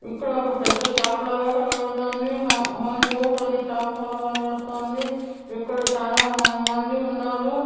ఇక్కడ ఒక పెద్ద షాప్ లాగా కనబడుతోంది. హ_హ్యాంగ్ అవుట్ అనే షాప్ లా కనబడుతోంది. ఇక్కడ చానా మంది ఉన్నారు.